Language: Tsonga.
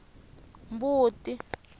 mbuti